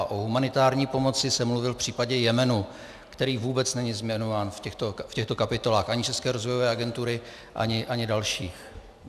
A o humanitární pomoci jsem mluvil v případě Jemenu, který vůbec není zmiňován v těchto kapitolách, ani České rozvojové agentury, ani dalších.